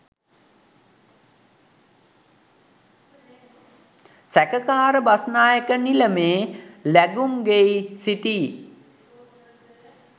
සැකකාර බස්‌නායක නිලමේ ලැගුම්ගෙයි සිටි